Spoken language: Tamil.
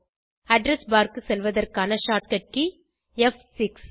அட்ரெஸ் பார் க்கு செல்வதற்கான short கட் கே ப்6